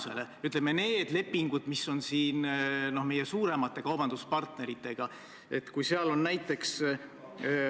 See ei saa olla kuidagi põhjendatud isegi sellisel juhul, kui tõesti selgub, et erandite pikendamine on mõistlik ja otstarbekas.